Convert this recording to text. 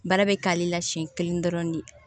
Baara bɛ k'ale la siɲɛ kelen dɔrɔn de